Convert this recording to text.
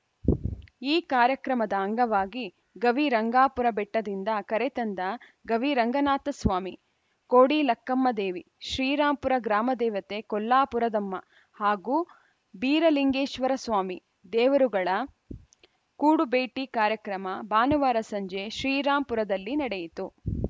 ಈ ಕಾರ್ಯಕ್ರಮದ ಅಂಗವಾಗಿ ಗವಿರಂಗಾಪುರ ಬೆಟ್ಟದಿಂದ ಕರೆತಂದ ಗವಿರಂಗನಾಥಸ್ವಾಮಿ ಕೋಡಿಲಕ್ಕಮ್ಮದೇವಿ ಶ್ರೀರಾಂಪುರ ಗ್ರಾಮ ದೇವತೆ ಕೊಲ್ಲಾಪುರದಮ್ಮ ಹಾಗೂ ಬೀರಲಿಂಗೇಶ್ವರಸ್ವಾಮಿ ದೇವರುಗಳ ಕೂಡು ಭೇಟಿ ಕಾರ್ಯಕ್ರಮ ಭಾನುವಾರ ಸಂಜೆ ಶ್ರೀರಾಂಪುರದಲ್ಲಿ ನಡೆಯಿತು